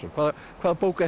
hvaða hvaða bók er